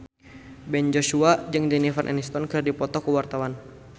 Ben Joshua jeung Jennifer Aniston keur dipoto ku wartawan